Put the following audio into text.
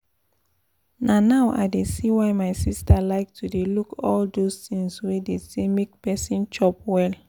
na now i dey see why my sister like to dey look all those things wey dey say make person chop well